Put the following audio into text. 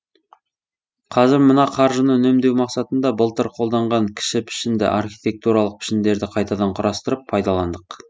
қазір мына қаржыны үнемдеу мақсатында былтыр қолданған кіші пішінді архетиктуралық пішіндерді қайтадан құрастырып пайдаландық